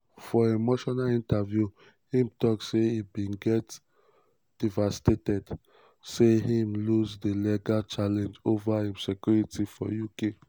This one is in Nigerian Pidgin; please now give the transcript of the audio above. for emotional interview im tok say e bin dey um "devastated" say im lose di legal challenge ova um im security for uk.